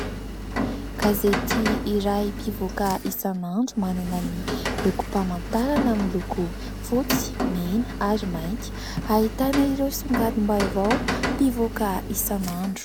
Gazety iray mpivoaka isan'andro manana ny lokom-pamantarana miloko fotsy, mena ary mainty. Ahitana ireo songadim-baovao mpivoaka isan'andro.